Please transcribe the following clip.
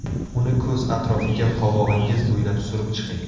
Uni ko‘z atrofiga qovog‘ingiz bo‘ylab surib chiqing.